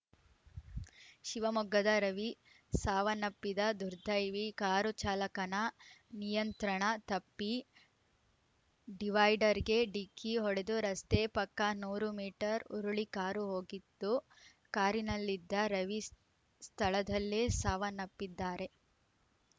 ಶಿವಮೊಗ್ಗದ ರವಿ ಸಾವನಪ್ಪಿದ ರ್ದುದೈವಿ ಕಾರು ಚಾಲಕನ ನಿಯಂತ್ರಣ ತಪ್ಪಿ ಡಿವೈಡರ್‌ಗೆ ಡಿಕ್ಕಿ ಹೊಡೆದು ರಸ್ತೆ ಪಕ್ಕ ನೂರು ಮೀಟರ್‌ ಉರುಳಿ ಕಾರು ಹೋಗಿತ್ತು ಕಾರಿನಲ್ಲಿದ್ದ ರವಿ ಸ್ಥ ಸ್ಥಳದಲ್ಲೇ ಸಾವನಪ್ಪಿದ್ದಾರೆ